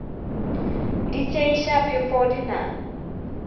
di tšeiša phefo di na